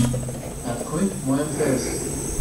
открой мой мтс